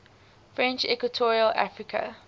french equatorial africa